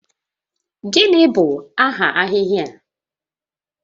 Gịnị bụ aha ahịhịa a?